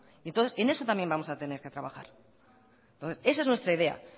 entonces en eso también vamos a tener que trabajar esa es nuestra idea